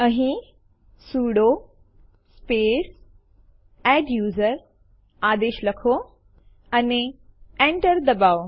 અહીં sudo space adduser આદેશ લખો અને Enter દબાવો